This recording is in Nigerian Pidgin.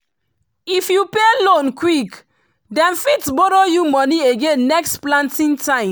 if you pay loan quick dem fit borrow you money again next planting time.